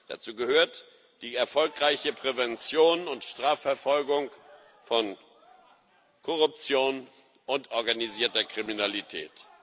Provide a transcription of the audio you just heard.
Dazu gehört die erfolgreiche Prävention und Strafverfolgung von Korruption und organisierter Kriminalität.